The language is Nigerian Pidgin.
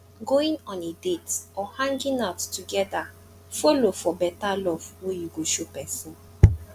going on a date or hanging out together follow for beta love wey you go show pesin